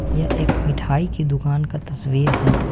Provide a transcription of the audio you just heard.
यह एक मिठाई की दुकान का तस्वीर है।